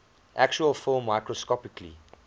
actual film microscopically